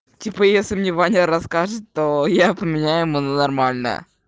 типа если мне ваня расскажет то я поменяю ему на нормальное